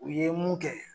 U ye mun kɛ